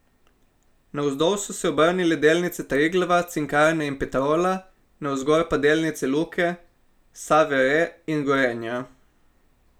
Navzdol so se obrnile delnice Triglava, Cinkarne in Petrola, navzgor pa delnice Luke, Save Re in Gorenja.